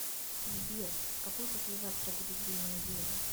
сбер какой послезавтра будет день недели